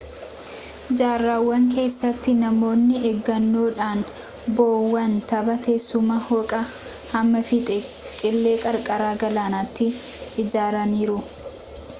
jaarraawan keessatti namoonni eeggannoodhan bo'oowwan tabba teessuma dhooqaa hamma fiixee qilee qarqara galaanaatti ijaaraniiru